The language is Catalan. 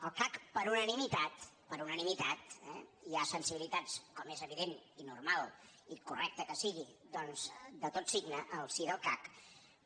el cac per unanimitat per unanimitat eh i hi ha sensibilitats com és evident i normal i correcte que sigui doncs de tot signe al si del cac